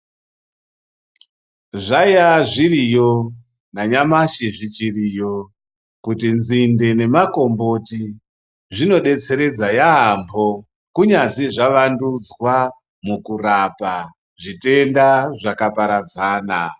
Zvaiyaa zviriyo nanyamashi zvichiriyo kuti nzindee nemakomboti zvinodetseredzaa yaamboo, kuyazi zvavandudzwaa mukurapa zvitenda zvakaparadzana.